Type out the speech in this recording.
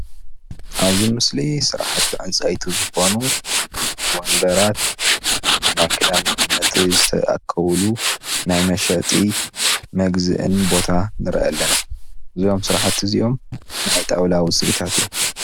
ስራሕቲ ዕንፀይቲ መስርሕን መሸጥን እዩ።